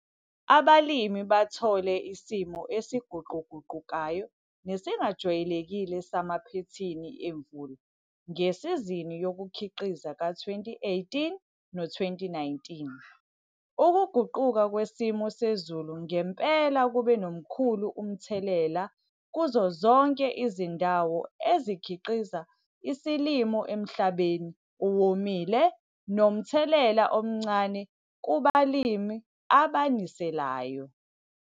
ABALIMI BATHOLE ISIMO ESIGUQUGUQUKAYO NESINGAJWAYELEKILE SAMAPHEHINI EMVULA NGESIZINI YOKUKHIQIZA KA-2018 no 2019. UKUGUQUKA KWESIMO SEZULU NGEMPELA KUBE NGOMKHULU UMTHELELA KUZO ZONKE IZINDAWO EZIKHIQIZA ISILIMO EMHLABENI OWOMILE NOMTHELELA OMNCANE KUBALIMI ABANISELAYO.